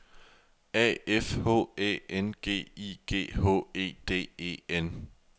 A F H Æ N G I G H E D E N